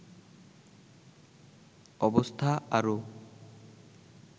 অবস্থা আরও